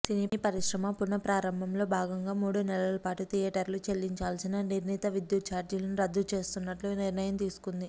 సినీ పరిశ్రమ పునఃప్రారంభంలో భాగంగా మూడు నెలలపాటు థియేటర్లు చెల్లించాల్సిన నిర్ణీత విద్యుత్త ఛార్జీలను రద్దు చేస్తున్నట్లు నిర్ణయం తీసుకుంది